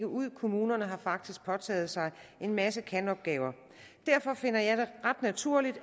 ud kommunerne har faktisk påtaget sig en masse kan opgaver derfor finder jeg det ret naturligt